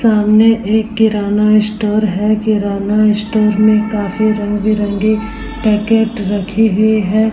सामने एक किराना इस स्टोर है। किराना इस स्टोर में काफी रंग बिरंगे पैकेट रखी हुई है।